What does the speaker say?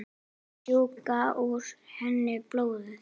Sjúga úr henni blóðið.